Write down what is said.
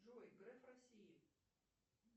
джой греф россии